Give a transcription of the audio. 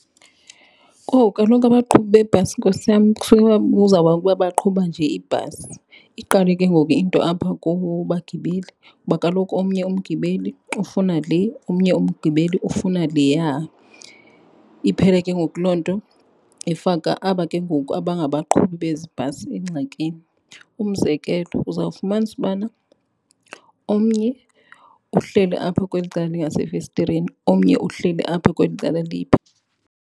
Kowu, kaloku abaqhubi bebhasi nkosi yam baqhuba nje ibhasi. Iqale ke ngoku into apha kubagibeli kuba kaloku omnye umgibeli ufuna le omnye umgibeli ufuna leya. Iphele ke ngoku loo nto ifaka aba ke ngoku abangabaqhubi bezi bhasi engxakini. Umzekelo uzawufumanisa ubana omnye uhleli apha kweli cala lingasefestireni, omnye uhleli apha kweli cala .